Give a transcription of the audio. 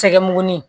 Sɛgɛnin